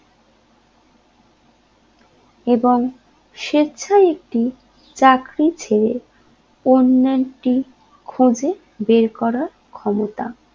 এবং স্বেচ্ছায় একটি চাকরি ছেড়ে অন্য একটি খুঁজে বের করা ক্ষমতা